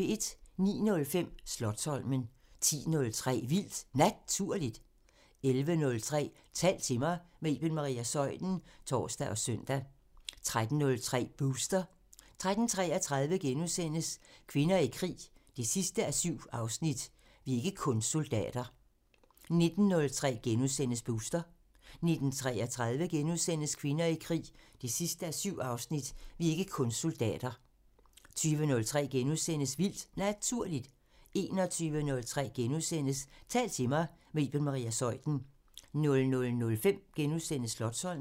09:05: Slotsholmen 10:03: Vildt Naturligt 11:03: Tal til mig – med Iben Maria Zeuthen (tor og søn) 13:03: Booster 13:33: Kvinder i krig 7:7 – "Vi er ikke kun soldater" 19:03: Booster * 19:33: Kvinder i krig 7:7 – "Vi er ikke kun soldater" * 20:03: Vildt Naturligt * 21:03: Tal til mig – med Iben Maria Zeuthen * 00:05: Slotsholmen *